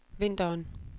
vinteren